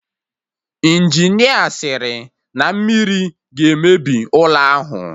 Injinia sịrị na mmiri ga-emebi ụlọ ahụ